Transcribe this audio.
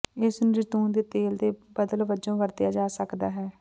ਇਸ ਨੂੰ ਜੈਤੂਨ ਦੇ ਤੇਲ ਦੇ ਬਦਲ ਵਜੋਂ ਵਰਤਿਆ ਜਾ ਸਕਦਾ ਹੈ